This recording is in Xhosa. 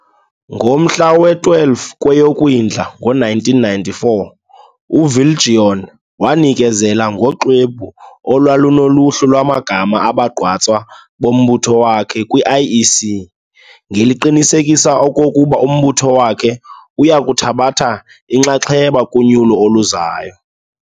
Ngomhla we-12 kweyoKwindla ngo1994, uViljoen wanikezela ngoxwebhu olwalunoluhlu lwamagama abagqatswa bombutho wakhe kwi-IEC, ngeliqinisekisa okokuba umbutho wakhe uyakuthabatha inxaxheba kunyulo oluzayo.